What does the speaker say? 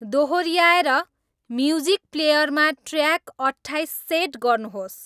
दोहोर्याएर music प्लेयरमा track अट्ठाईस set गर्नुहोस्